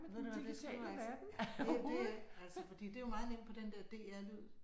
Ved du hvad det skal du altså det det altså fordi det jo meget nemt på den der DR Lyd